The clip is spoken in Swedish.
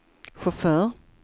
chaufför